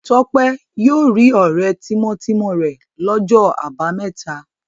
Tọ́pẹ́ yóò rí ọ̀rẹ́ tímọ́tímọ́ rẹ̀ lọ́jọ́ àbámẹ́ta.